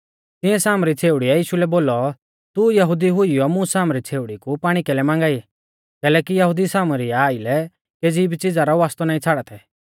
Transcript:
तिंऐ सामरी छ़ेउड़ीऐ यीशु लै बोलौ तू यहुदी हुईयौ मुं सामरी छ़ेउड़ी कु पाणी कैलै मांगा ई कैलैकि यहुदी सामरिउ आइलै केज़ी भी च़िज़ा रौ वास्तौ नाईं छ़ाड़ा थै